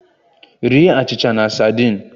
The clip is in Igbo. Rie achịcha na sadin!